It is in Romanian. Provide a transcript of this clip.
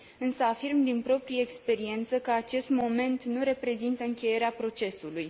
Însă afirm, din proprie experiență, că acest moment nu reprezintă încheierea procesului.